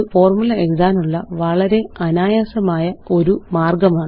ഇത് ഫോര്മുല എഴുതാനുള്ള വളരെ അനായാസമായൊരു മാര്ഗ്ഗമാണ്